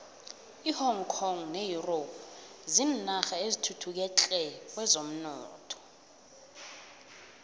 ihong kong ne europe zinarha ezithuthuke tle kwezomnotho